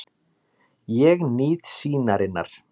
Ég nýt sýnarinnar.